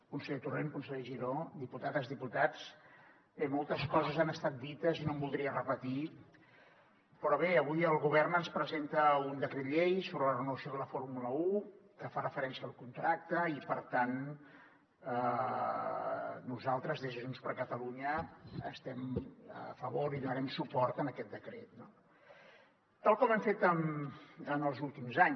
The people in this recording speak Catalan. conseller torrent conseller giró diputades diputats bé moltes coses han estat dites i no em voldria repetir però bé avui el govern ens presenta un decret llei sobre la renovació de la fórmula un que fa referència al contracte i per tant nosaltres des de junts per catalunya hi estem a favor i donarem suport a aquest decret no tal com hem fet en els últims anys